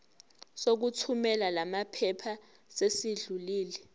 sokuthumela lamaphepha sesidlulile